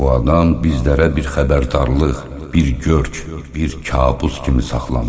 Bu adam bizlərə bir xəbərdarlıq, bir görk, bir kabus kimi saxlanıb.